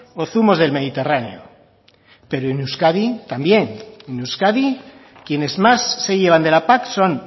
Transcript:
o zumos del mediterráneo pero en euskadi también en euskadi quienes más se llevan de la pac son